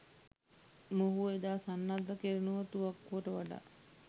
මොහුව එදා සන්නද්ධ කෙරුණු තුවක්කුවට වඩා